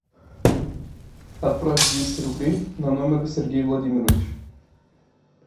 отправь двести рублей на номер сергей владимирович